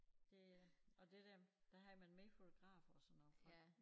Det og det der der havde man med fotografer og sådan noget for